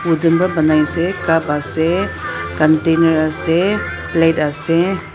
bottle para banaise cup ase container ase plate ase.